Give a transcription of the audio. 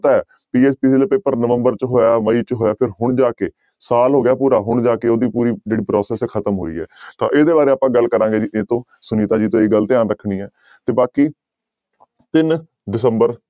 ਦਾ paper November ਚ ਹੋਇਆ, ਮਈ ਹੋਇਆ ਤੇ ਹੁਣ ਜਾ ਕੇ ਸਾਲ ਹੋ ਗਿਆ ਪੂਰਾ ਹੁਣ ਜਾ ਕੇ ਉਹਦੀ ਪੂਰੀ ਜਿਹੜੀ process ਹੈ ਖ਼ਤਮ ਹੋਈ ਹੈ ਤਾਂ ਇਹਦੇ ਬਾਰੇ ਆਪਾਂ ਗੱਲ ਕਰਾਂਗੀ ਜੀ ਕਿਹਤੋਂ ਸੁਨੀਤਾ ਜੀ ਤੋਂ ਇਹ ਗੱਲ ਧਿਆਨ ਰੱਖਣੀ ਹੈ ਤੇ ਬਾਕੀ ਤਿੰਨ ਦਸੰਬਰ